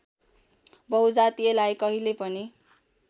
बहुजातीयतालाई कहिल्यै पनि